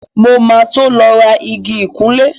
Mo ma tó lọ rà igi ìkunlẹ́